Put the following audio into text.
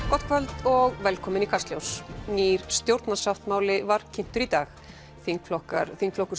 gott kvöld og velkomin í Kastljós nýr stjórnarsáttmáli var kynntur í dag þingflokkar þingflokkar